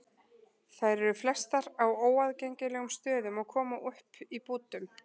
Þær eru flestar á óaðgengilegum stöðum og koma upp í bútum.